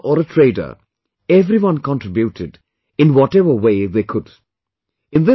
Be it a professor or a trader, everyone contributed in whatever way they could